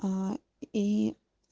аа и